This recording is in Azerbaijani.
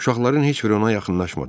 Uşaqların heç biri ona yaxınlaşmadı.